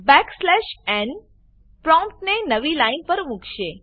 back slash ન પ્રોમ્પ્ટને નવી લાઈન પર મુકશે